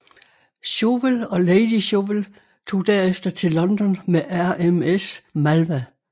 Chauvel og Lady Chauvel tog derefter til London med RMS Malwa